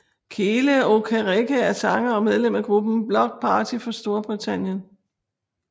Kele Okereke er sanger og medlem af gruppen Bloc Party fra Storbritannien